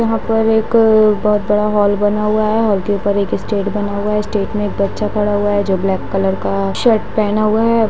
यहाँ पर एक बहुत बड़ा हॉल बना हुआ है हॉल के ऊपर एक स्टेज बना हुआ है स्टेज पर एक बच्चा खड़ा हुआ है जो ब्लैक कलर का शर्ट पेहना हुआ है।